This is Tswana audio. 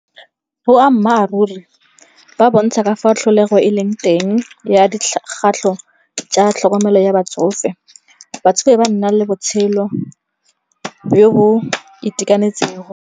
Boammaaruri ba bontsha ka fa tlholego e leng teng ya dikgatlho tsa tlhokomelo ya batsofe. Batsofe ba nna le botshelo jo bo itekanetsego.